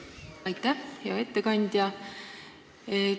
Aitäh, hea ettekandja!